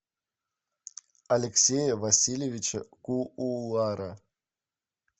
алексея васильевича куулара